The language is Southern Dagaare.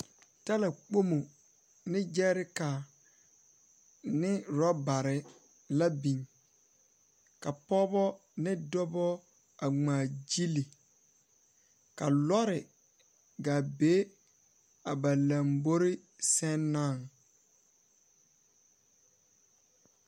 Talakpomo ne gyɛɛrekare ne orɔbare la biŋ, ka pɔɔbɔ ne dɔbɔ a ŋmaagyili. Ka lɔre gaa be a ba lambori sɛŋ naŋ.